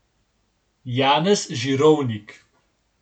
Janez Žirovnik.